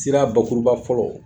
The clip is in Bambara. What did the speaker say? Sira bakuruba fɔlɔ